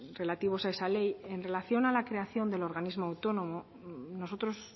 relativos a esa ley en relación a la creación del organismo autónomo nosotros